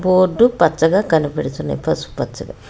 Board పచ్చగా కనబడుచున్నవి పసుపుపచ్చగా.